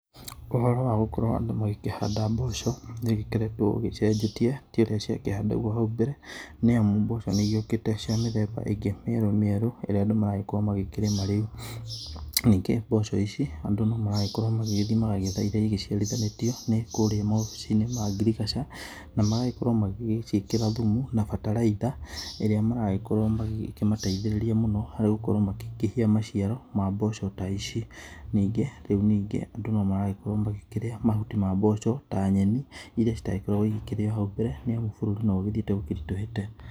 Ũhoro wa gũkorwo andũ magĩkĩhanda mboco nĩ ũgĩkoretwo ũgĩcenjetie tiũrĩa ciakĩhandagwo hau mbere. Nĩ amu mboco nĩ igĩũkĩte cia mĩthemba ĩngĩ mĩeru mĩeru ĩrĩa andũ maragĩkorwo magĩkĩrĩma rĩu. Ningĩ mboco ici andũ nĩ maragĩkorwo magĩthiĩ magagĩietha iria igĩciarithanĩtio kũrĩa maobici-inĩ ma ngirigaca, na magagĩkorwo magĩciĩkĩra thumu na bataraitha ĩrĩa maragĩkorwo ĩkĩmateithĩrĩria mũno harĩ gũkorwo makĩingĩhia maciaro ma mboco ta ici. Ningĩ rĩu ningĩ andũ no maragĩkorwo magĩkĩrĩa mahuti ma mboco ta nyeni iria citagĩkoragwo ikĩrio hau mbere nĩ amu bũrũri no ũgĩthiĩte na mbere ũkĩritũhĩte.